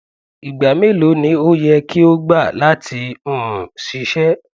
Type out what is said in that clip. igba melo ni o yẹ ki o gba lati um ṣiṣẹ